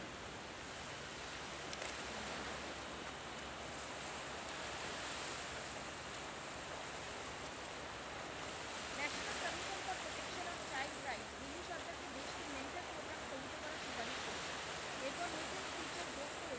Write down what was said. national commission for protection of child rights Delhi সরকারকে দেশ কে mentor program স্থগিত করার সুপারিশ করেছে এরপর নতুন feature যোগ করে